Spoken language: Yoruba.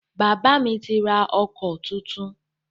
Bàbá mi ti rà ọkọ̀ tuntun